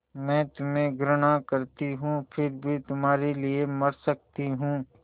मैं तुम्हें घृणा करती हूँ फिर भी तुम्हारे लिए मर सकती हूँ